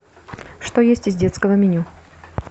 что есть из детского меню